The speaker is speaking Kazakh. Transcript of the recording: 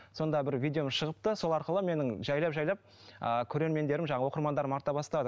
сонда бір видеом шығыпты сол арқылы менің жайлап жайлап ааа көреремендерім оқырмандарым арта бастады